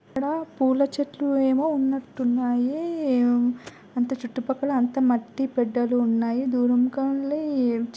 ఇక్కడ పూల చెట్లు ఏమో ఉన్నటు ఉన్నాయి అంత చుట్టుపక్కల అంతా మట్టి బెడ్డలు ఉన్నాయి దూరం కెళ్ళి --